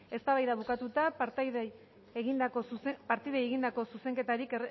eztabaida bukatuta partidei egindako zuzenketak